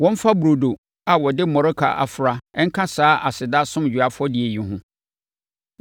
Wɔmfa burodo a wɔde mmɔreka afra nka saa aseda asomdwoeɛ afɔdeɛ yi ho.